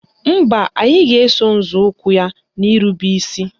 Mba, anyị ga-eso nzọụkwụ ya n'irube isi